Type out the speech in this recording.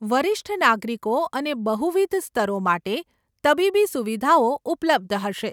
વરિષ્ઠ નાગરિકો અને બહુવિધ સ્તરો માટે તબીબી સુવિધાઓ ઉપલબ્ધ હશે.